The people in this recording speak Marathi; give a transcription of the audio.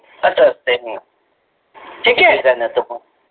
अत ते